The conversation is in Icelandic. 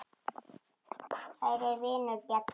Kæri vinur, Bjarni.